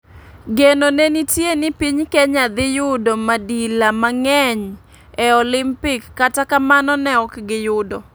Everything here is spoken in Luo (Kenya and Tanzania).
Geno ne nitie ni piny kenya dhi yudo midila mang'eny e olimpik kata kamano ne ok giyudo.